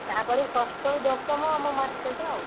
ତାପରେ ଷଷ୍ଠ ଋ ଦଶମ ଆମ market ଆଉ।